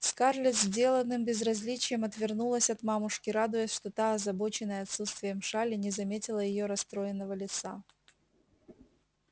скарлетт с деланным безразличием отвернулась от мамушки радуясь что та озабоченная отсутствием шали не заметила её расстроенного лица